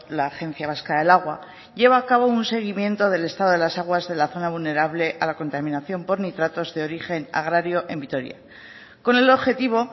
la agencia vasca del agua lleva a cabo un seguimiento del estado de las aguas de la zona vulnerable a la contaminación por nitratos de origen agrario en vitoria con el objetivo